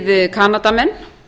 við kanadamenn